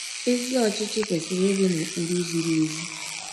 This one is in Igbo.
Ezi ọchịchị kwesịrị ịdị na ụkpụrụ ziri ezi.